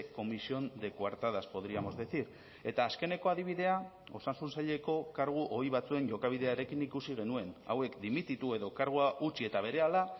comisión de cuartadas podríamos decir eta azkeneko adibidea osasun saileko kargu ohi batzuen jokabidearekin ikusi genuen hauek dimititu edo kargua utzi eta berehala